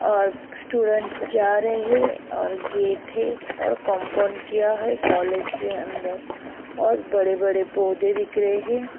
और स्टूडेंट जा रहे हैं और गेटे हैं और कंपाउंड किया है कॉलेज के अंदर और बड़े-बड़े पौधे दिख रहे हैं।